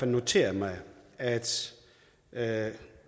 noteret mig at at